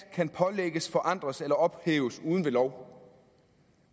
kan pålægges forandres eller ophæves uden ved lov